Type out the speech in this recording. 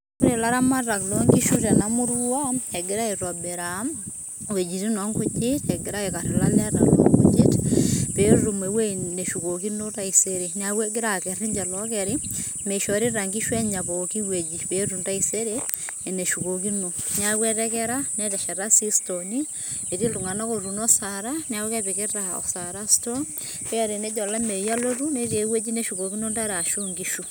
Ore laramatak lo nkishu tenamurua, egira aitobiraa iwuejiting' onkujit ,egira aikarr ilaleta lo nkujit, petum ewueji neshukokino taisere. Neeku egira akerr ninche lookeri, mishorita inkishu enya pooki wueji, peetum taisere eneshukokino. Neeku etekera netesheta si stooni, etii ililtung'anak otuuno osara, neeku kepikita osara stoo, pe tenejo olameyu alotu, netii ewueji neshukokino intare ashu inkishu.